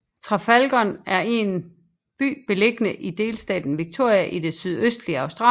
Traralgon er en by beliggende i delstaten Victoria i det sydøstligste Australien